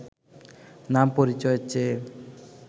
নাম পরিচয় চেয়ে